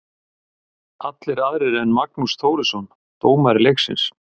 Allir aðrir en Magnús Þórisson, dómari leiksins.